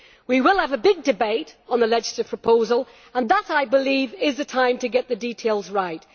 We will have a big debate on the legislative proposal and that, I believe, is the time to get the details right.